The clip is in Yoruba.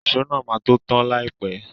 Ìṣó náà máa to tan láìpẹ́.